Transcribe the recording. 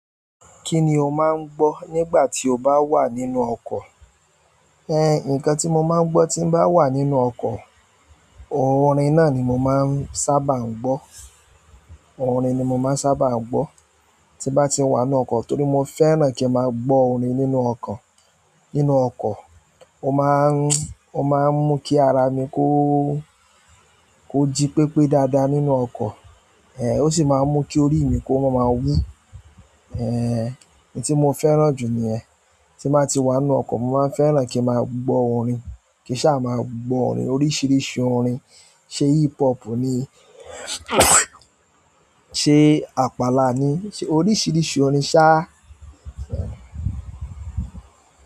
Kí ni o máa ń gbọ́ nígbà tí o bá wà nínú ọkọ̀? Ẹ nǹkan tí mo máa ń gbọ́ tí bá wà nínú ọkọ̀, orin náà ni mo máa ń sábà ń gbọ́. Orin ni mo máa ń sábà ń gbọ́ tí bá ti wà nínú ọkọ̀ torí mo fẹ́ràn kí n máa gbọ́ orin nínú ọkọ̀. Nínú ọkọ̀, ó máa ń, ó máa ń mú kí ara mi kó, kó jí pépé dáadáa nínú ọkọ̀. Ẹ̀, ó sì máa ń mú kí orí mi kó máa máa wú. Ẹ̀, èyí tí mo fẹ́ràn jù ni ẹ̀. Ti n bati wanu oko mo maa n fẹ́ràn ki n ma gbo orin. Kì í sá máa gbọ́ orin oríṣìíríṣìí orin, ṣe hip hop ni, ṣe àpàlà ni, oríṣìíríṣìí orin sá à. Ẹ̀.